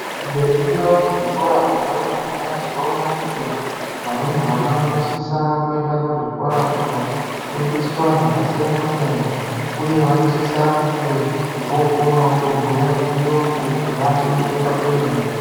Tikaningira muzvikora zvevarumbwana tinoona kuti varumbwana vanosisa kuenda kuzvikoro kunofundiswa zvakasiyana-siyana, uye vanosisa kunge vookonawo kubhuye chiyungu, kubaachibeta kwemene.